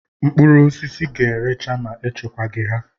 Mkpụrụosisi ga-erecha ma echekwa gi ha.